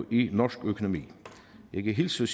i norsk økonomi jeg kan hilse